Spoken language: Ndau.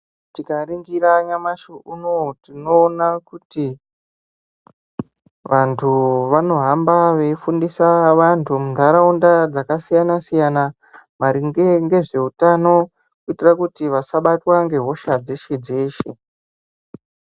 Tikaringira nyamashi unouyu tinoona kuti vantu vanohamba veifundisa vantu muntaraunda dzakasiyana-siyana, maringe ngezvehutano. Kuitira kuti vasabatwa ngehosha dzeshe-dzeshe.